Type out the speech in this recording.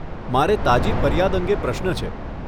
મારે તાજી ફરિયાદ અંગે પ્રશ્ન છે.